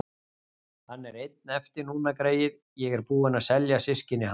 Hann er einn eftir núna, greyið, ég er búin að selja systkini hans.